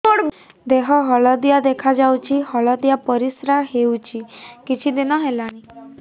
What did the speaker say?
ଦେହ ହଳଦିଆ ଦେଖାଯାଉଛି ହଳଦିଆ ପରିଶ୍ରା ହେଉଛି କିଛିଦିନ ହେଲାଣି